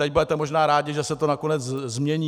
Teď budete možná rádi, že se to nakonec změní.